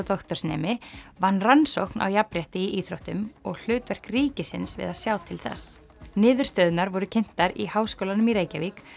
doktorsnemi vann rannsókn á jafnrétti í íþróttum og hlutverk ríkisins við að sjá til þess niðurstöðurnar voru kynntar í Háskólanum í Reykjavík